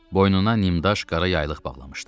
Boynuna nimdaş, qara yaylıq bağlamışdı.